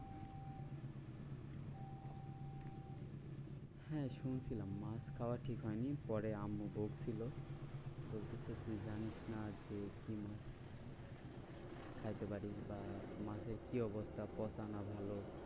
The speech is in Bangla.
হ্যাঁ শুনছিলাম মাছ খাওয়া ঠিক হয়নি পরে আম্মু বকছিল, বলতেছে তুই জানিস না যে কি মাছ? খাইতে পারিস বা মাছের কি অবস্থা পচা না ভালো?